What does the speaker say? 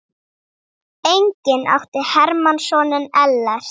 Einnig átti Hermann soninn Ellert.